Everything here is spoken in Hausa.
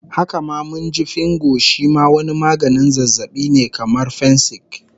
Haka ma mun ji Fingo shi ma wani maganin zazzabin ne kamar dai fensik